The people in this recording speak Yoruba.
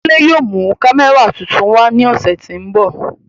Kunle yóò mu kamẹra tuntun wa ni ọsẹ ti n bọ.